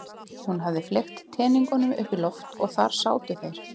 Hún hafði fleygt teningunum upp í loft og þar sátu þeir.